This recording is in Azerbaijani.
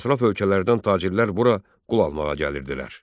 Ətraf ölkələrdən tacirlər bura qul almağa gəlirdilər.